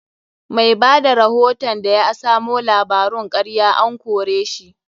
Mai bada rahoton da ya asamo labarun karya an kore shi.